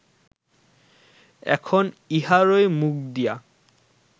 এখন ইহারই মুখ দিয়া